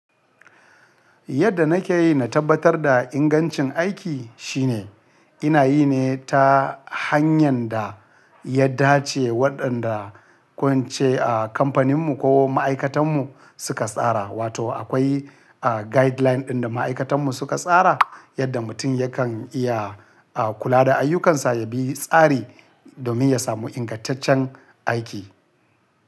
Yadda nake yi na tabbatar da ingancin aiki shine ina yi ne ta hanyar da ya dace waɗanda ko in ce a kamfaninmu ko ma'aikatanmu suka tsara. Wato akwai guideline ɗin da ma'aikatanmu suka tsara yadda mutum yakan iya kula da ayyukansa ya bi tsari domin ya samu ingantaccen aiki.